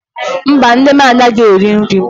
Mba, nne m anaghị eri nri.